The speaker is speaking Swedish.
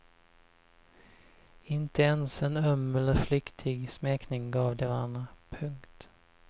Inte ens en öm eller flyktig smekning gav de varandra. punkt